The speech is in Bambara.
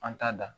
An t'a da